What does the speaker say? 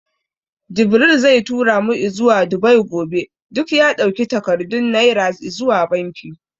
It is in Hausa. Jibril zai tura mu izuwa Dubai gobe. Duk ya ɗauki takardun Naira izuwa banki.